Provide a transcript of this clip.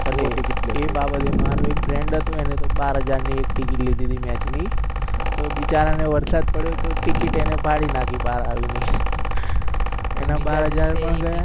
એ બાબતે મારો એક friend હતો એને તો બાર હજાર ની એક ટિકિટ લીધી હતી મેચ ની તો બીચારા નો વરસાદ પડયો તો ટિકિટ એને ફાડી નાખ્યો બાહર આવીને એના બાર હજાર પણ ગયા